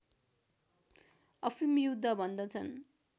अफिम युद्ध भन्दछन्